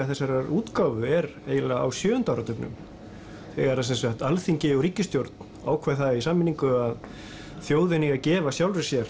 þessarar útgáfu er eiginlega á sjöunda áratugnum þegar að Alþingi og ríkisstjórn ákveða það í sameiningu að þjóðin eigi að gefa sjálfri sér